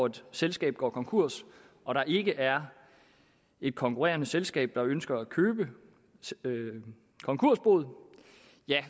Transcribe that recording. et selskab går konkurs og der ikke er et konkurrerende selskab der ønsker at købe konkursboet